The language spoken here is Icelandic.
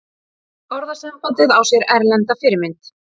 Orðasambandið á sér erlenda fyrirmynd.